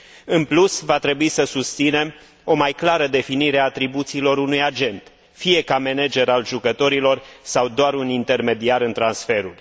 În plus, va trebui să susținem o mai clară definire a atribuțiilor unui agent, fie ca manager al jucătorilor sau doar un intermediar în transferuri.